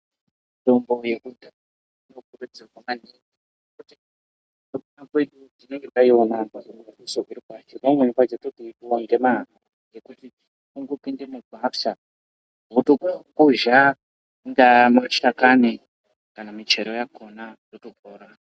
Mitombo yekudhaya vantu vaindopinde mumakwasha semkupuwa kwavakaita ndiMwari votokuzha mashakani kana michero yakona votopona .